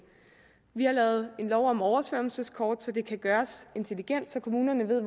vi har lavet en lov om oversvømmelseskort så det kan gøres intelligent så kommunerne ved